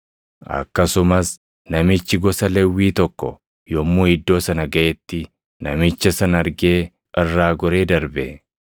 Akkasumas namichi gosa Lewwii tokko yommuu iddoo sana gaʼeetti namicha sana argee irraa goree darbe.